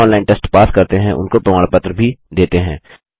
जो online test pass करते हैं उनको प्रमाण पत्र भी देते हैं